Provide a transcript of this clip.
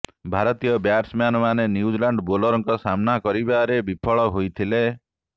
ଭାରତୀୟ ବ୍ୟାଟସମ୍ୟାନ ମାନେ ନ୍ୟୁଜିଲାଣ୍ଡ ବୋଲରଙ୍କ ସାମ୍ନା କରିବାରେ ବିଫଳ ହୋଇଥିଲେ